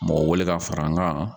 Mɔgɔ wele ka fara n kan